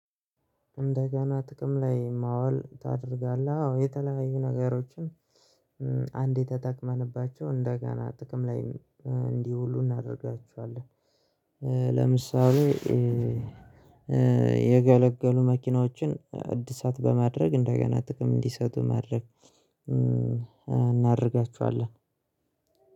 እንደገና ጥቅም ላይ ማዋል ታደርጋለህ? አዎ የተለያዩ ነገሮችን አንዴ የተጠቅመንባቸው እንደገና ጥቅም ላይም እንዲህ ዉሉ እናደርጋቸዋለን። ለምሳሌ ያገለገሉ መኪናዎችን አዲሳት በማድረግ እንደገና ጥቅም እንዲሰጡ ማድረግ እናደርጋችኋለን።